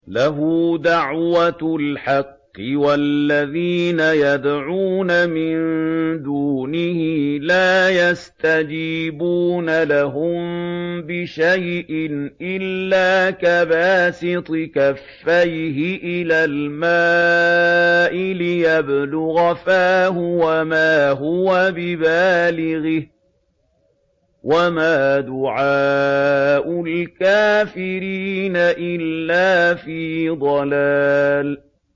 لَهُ دَعْوَةُ الْحَقِّ ۖ وَالَّذِينَ يَدْعُونَ مِن دُونِهِ لَا يَسْتَجِيبُونَ لَهُم بِشَيْءٍ إِلَّا كَبَاسِطِ كَفَّيْهِ إِلَى الْمَاءِ لِيَبْلُغَ فَاهُ وَمَا هُوَ بِبَالِغِهِ ۚ وَمَا دُعَاءُ الْكَافِرِينَ إِلَّا فِي ضَلَالٍ